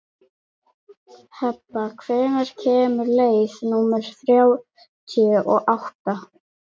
Heba, hvenær kemur leið númer þrjátíu og átta?